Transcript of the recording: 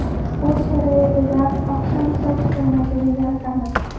Uy sharoitida oqshom soch turmagini yaratamiz.